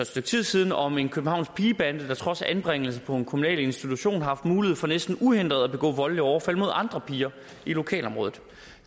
stykke tid siden om en københavnsk pigebande der trods anbringelse på en kommunal institution har haft mulighed for næsten uhindret at begå voldelige overfald mod andre piger i lokalområdet